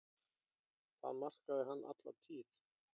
Það markaði hann alla tíð.